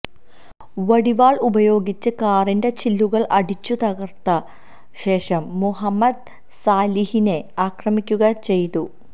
വടിവാൾ ഉപയോഗിച്ച് കാറിന്റെ ചില്ലുകൾ അടിച്ചു തകർത്ത ശേഷം മുഹമ്മദ് സാലിഹിനെ ആക്രമിക്കുകയുംചെയ്തു